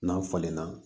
N'a falenna